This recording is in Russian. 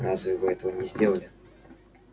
разве вы этого не сделали